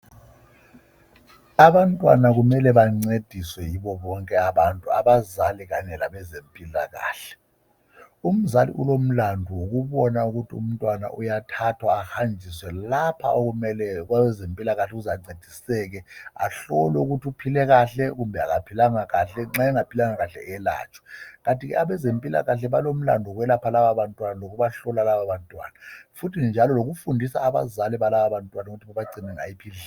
Abantwana kumele bancediswe yibo bonke abantu abazali Kanye labezempilakahle. Umzali ulomlandu wokubona ukuthi umntwana uyathathwa ahanjiswe kwabezempilakahle lapho azafika ancediseke khona ahlolwe ukubana uphile kahle nxa bengaphilanga kuhle ayelatshwe . Kanti abezempilakahle balomlandu wokubahlola lokubalapha njalo lokufundisa abazali ukuthi bagcine njani lababantwana.